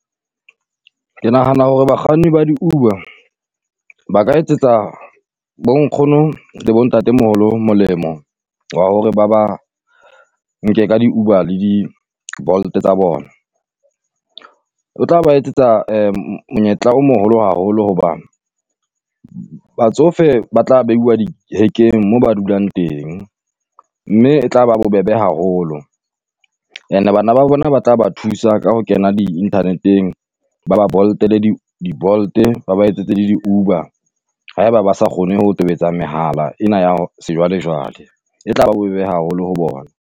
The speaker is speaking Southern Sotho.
Ke nahana hore bakganni ba di Uber ba ka etsetsa bo nkgono le bo Ntate moholo molemo wa hore ba ba nke ka di-Uber le di-Bolt tsa bona. O tla ba etsetsa monyetla o moholo haholo hoba batsofe ba tla beiwa dihekeng moo ba dulang teng, mme e tla ba bobebe haholo. And-e bana ba bona ba tla ba thusa ka ho kena di-inthaneteng ba ba Bolt-ele di di Bolt-e ba ba etsetse le di-Uber, haeba ba sa kgone ho tobetsa mehala ena ya sejwalejwale, e tla ba bobebe haholo ho bona.